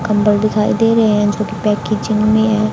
कंबल दिखाई दे रहे हैं जो कि पैकेजिंग में हैं।